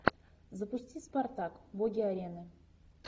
запусти спартак боги арены